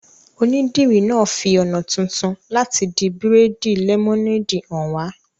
Onídìrí náà fi ọ̀nà tuntun láti di bírèèdì lẹ́mọ́néèdì hàn wá